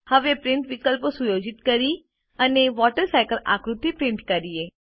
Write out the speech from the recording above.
હવે પ્રિન્ટીંગ વિકલ્પો સુયોજિત કરીએ અને વોટરસાયકલ આકૃતિ પ્રિન્ટ કરીએ